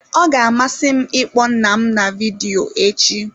Ọ ga-amasị m ịkpọ nna m na vidiyo echi.